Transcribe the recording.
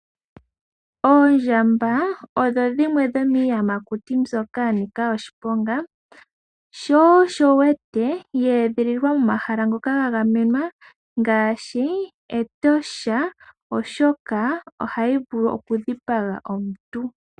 Oondjamba odho dhimwe dho miiyamakuti mbyoka ya nika oshiponga, sho osho wu wete ya edhililwa momahala ngoka ga gamenwa ngaashi Etosha, oshoka ohayi vulu oku dhipaga omuntu.